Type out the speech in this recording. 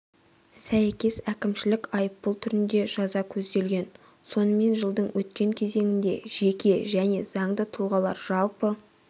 сәйкес әкімшілік айыппұл түрінде жаза көзделген сонымен жылдың өткен кезеңінде жеке және заңды тұлғалар жалпы